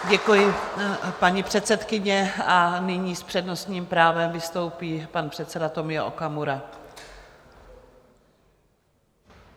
Děkuji, paní předsedkyně, a nyní s přednostním právem vystoupí pan předseda Tomio Okamura.